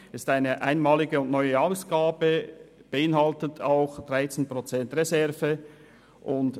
Es handelt sich um eine einmalige und neue Ausgabe, die auch 13 Prozent Reserve beinhaltet.